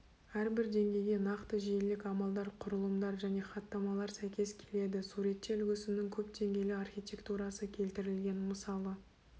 әрбір деңгейге нақты желілік амалдар құрылымдар және хаттамалар сәйкес келеді суретте үлгісінің көпдеңгейлі архитектурасы келтірілген мысалы